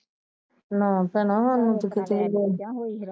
ਨਾ ਭੈਣਾ ਸਾਨੂੰ ਤੇ